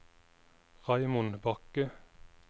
Raymond Bakke